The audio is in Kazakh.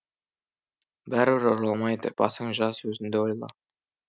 бәрібір оралмайды басың жас өзінді ойла